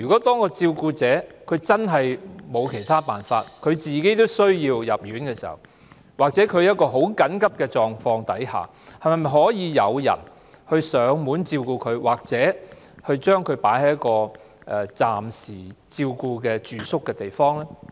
當照顧者真的別無他法，連自己都需要入院時，或在極緊急的情況下，當局可否派人上門照顧病患者，或將其送到一個提供暫顧服務的地方暫住？